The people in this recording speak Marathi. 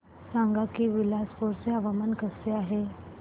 सांगा की बिलासपुर चे हवामान कसे आहे